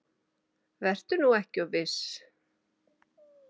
Vertu nú ekki of viss.